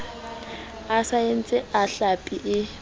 a saense a hlapi e